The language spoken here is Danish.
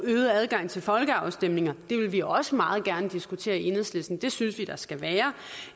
øget adgang til folkeafstemninger det vil vi også meget gerne diskutere i enhedslisten det synes vi der skal være